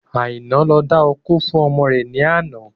Aina ń lọ dákó fún ọmọ rẹ ni ọ̀la.